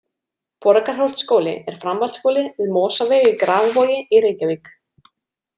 Borgarholtsskóli er framhaldsskóli við Mosaveg í Grafarvogi í Reykjavík.